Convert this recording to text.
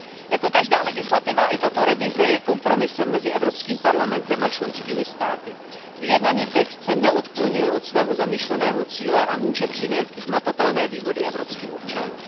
Jako každá legislativa i tato revize je kompromisem mezi Evropským parlamentem a členskými státy. Vyjednaný text se neodklonil od svého zamýšleného cíle a může přinést hmatatelné výhody evropským občanům.